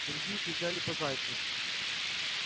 другие кричали по зайцу